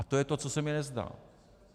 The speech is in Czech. A to je to, co se mi nezdá.